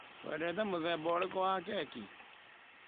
Wendete mũthemba ũrĩkũ wa keki?